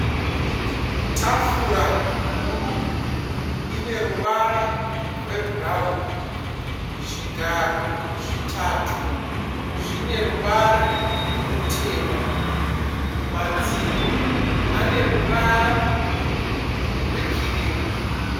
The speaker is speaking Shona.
Tafura huru ine ruvara rwebhurauni. Zvigaro zvitatu zvine ruvara rutema. Madziro ane ruvara rwekirimu.